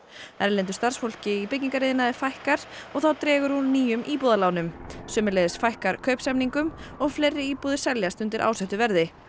erlendu starfsfólki í byggingariðnaði fækkar og þá dregur úr nýjum íbúðalánum sömuleiðis fækkar kaupsamningum og fleiri íbúðir seljast undir ásettu verði